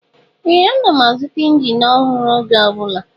Ee! Ana m azụta injin ọhụrụ oge ọ bụla.